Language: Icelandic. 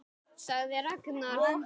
sagði Ragnar.